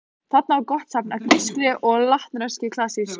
Þarna var gott safn af grískri og latneskri klassík.